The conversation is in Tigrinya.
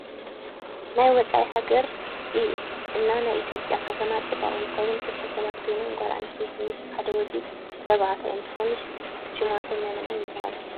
ናይ ወፃእ ሃገር እና ናይ ኢትዮጵያ ከተማ ፅባቀ እንትከውን ክልተ ሰባት ኮይኖም ጋል አንስተይቲ ምስ ሓደ ወድ ተባዕታይእንትኮኑ ሽማቶም መን መን ይባሃሉ?